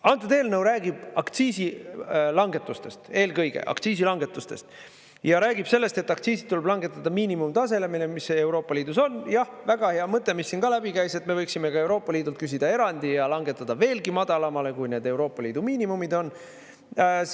Antud eelnõu räägib aktsiisi langetusest eelkõige aktsiisi langetusest, ja räägib sellest, et aktsiisid tuleb langetada miinimumtasemele, mis Euroopa Liidus on, jah, väga hea mõte, mis siin ka läbi käis, et me võiksime ka Euroopa Liidult küsida erandi ja langetada veelgi madalamale, kui need Euroopa Liidu miinimumid on.